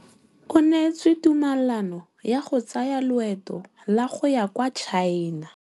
O neetswe tumalanô ya go tsaya loetô la go ya kwa China.